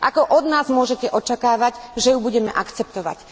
Ako od nás môžete očakávať, že ju budeme akceptovať.